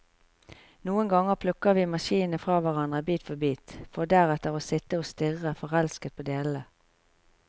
Noen ganger plukker vi maskinen fra hverandre, bit for bit, for deretter å sitte og stirre forelsket på delene.